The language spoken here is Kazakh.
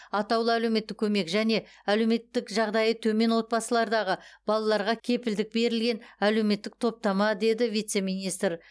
атаулы әлеуметтік көмек және әлеуметтік жағдайы төмен отбасылардағы балаларға кепілдік берілген әлеуметтік топтама деді вице министр